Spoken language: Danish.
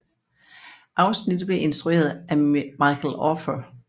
Afsnittet blev instrueret af Michael Offer